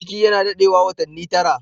Ciki na dadewa watani tara.